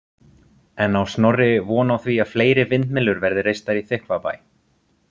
En á Snorri von á því að fleiri vindmyllur verði reistar í Þykkvabæ?